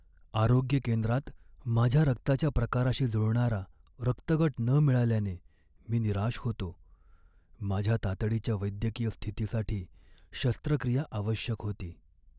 आरोग्य केंद्रात माझ्या रक्ताच्या प्रकाराशी जुळणारा रक्तगट न मिळाल्याने मी निराश होतो. माझ्या तातडीच्या वैद्यकीय स्थितीसाठी शस्त्रक्रिया आवश्यक होती.